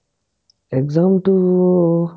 exam টো